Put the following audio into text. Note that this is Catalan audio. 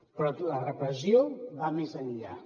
però la repressió va més enllà